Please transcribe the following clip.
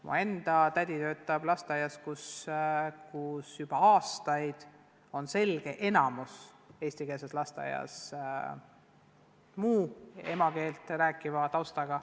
Mu enda tädi töötab eestikeelses lasteaias, kus juba aastaid on selge enamus olnud muud emakeelt rääkivatel lastel.